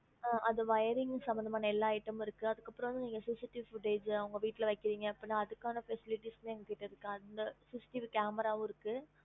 அந்த wiring சம்பந்தமான எல்லா item ம் இருக்கு அதுக்கு அப்பரம் வந்து நீங்க CCTVfootage உங்க வீட்ல வைக்கிரிங்க அப்டினா அதுக்கான facilities மே எங்க கிட்ட இருக்கு அந்த CCTV camera வும் இருக்கு